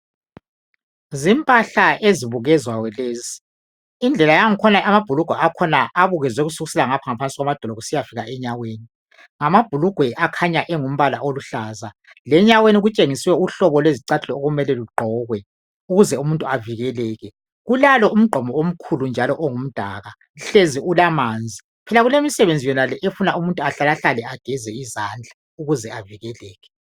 Zimpahla ezibukezwayo lezi indlela yakhona amabhulugwe akhona abukezwe kusukisela emadolo kusiya fika enyaweni ngamabhulugwe akhanya engumbala oluhlaza lenyaweni kutshengiswe uhlobo lwezicathulo okumele lugqokwe kulalo njalo umgqomo omkhulu njalo ongumdaka hlezi kulamanzi phela kulemisebenzi yonale efuna umuntu ahlala hlale ageze izandla ukuze avikeleke.